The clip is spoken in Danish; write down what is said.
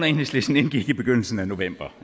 enhedslisten indgik i begyndelsen af november